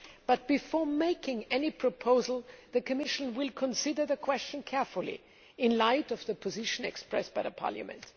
However, before making any proposal, the Commission will consider the question carefully in the light of the position expressed by Parliament.